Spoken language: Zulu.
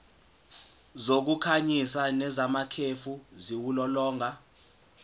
zokukhanyisa nezamakhefu ziwulolonga